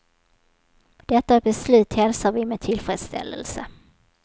Detta beslut hälsar vi med tillfredsställelse.